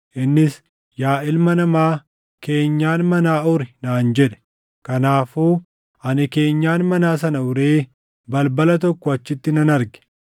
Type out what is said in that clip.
Innis, “Yaa ilma namaa, keenyan manaa uri” naan jedhe. Kanaafuu ani keenyan manaa sana uree balbala tokko achitti nan arge.